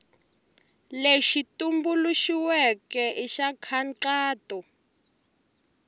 lexi tumbuluxiweke i xa nkhaqato